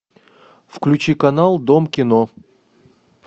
включи канал дом кино